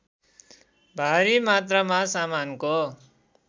भारी मात्रामा सामानको